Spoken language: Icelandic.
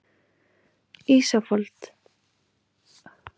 Ísfold, stilltu tímamælinn á áttatíu og sex mínútur.